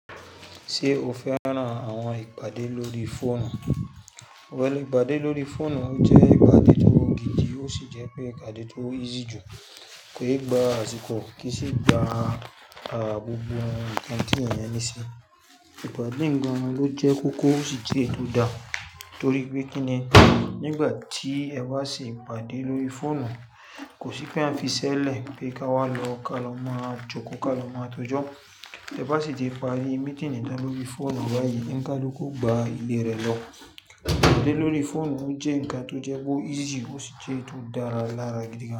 Ṣé o fẹ́ran àwọn ìpàdé lórí fóònù? Òwe ìpàdé lórí fóònù jẹ́ ìpàdé tó gidi ó sì jẹ́ pé ìpàdé tó easy jù. Ke gba àsìkò kì í sì gba gbogbo ǹkan tí èèyàn ní sí. Ìpàdé oun gan ló jẹ́ kókó ó sì jẹ́ eyi tó dá. Nítorí pé kíni, nígbà tí ẹ bá ṣe ìpàdé lórí fóònù kò sí pé a fiṣẹ́lẹ̀ pé ká wá lọ ká lọ mọ̀ á joko ká lọ mọ̀ á tọ jọ. Ẹ bá sì ti pa àrí meeting nítàn lórí fóònù báyìí, ǹkaluku o gba ìlere lọ. Ìpàdé lórí fóònù jẹ́ ǹkan tó jẹ́ pe o easy ó sì jẹ́ eyi to dára lára gidigan.